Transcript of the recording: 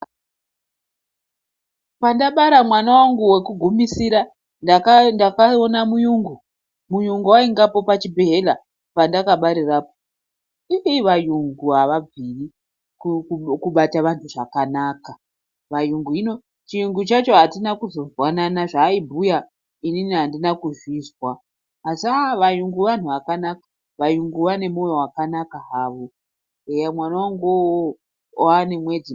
Pandabara mwana wangu wekugumisira ndakaona muyungu, muyungu wanga aripa chibhedhleya pandakabarirapo, iiwayungu awagoni mubata wanhu zvakanaka, wayungu hino chiyungu chacho atina kuzozwanana, zvaaibhuya inini andina kuzozvizwa, asi wayungu wanhu wakanaka, wayungu wane moyo wakanaka hawo, eya mwananguwo uwowo wawane mwedzi.